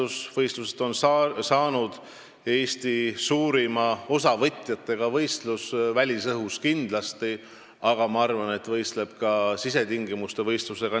Sellest on saanud suurima osavõtjate arvuga võistlus Eestis – välisõhus kindlasti, aga ma arvan, et ka võrreldes sisetingimustes peetavate võistlustega.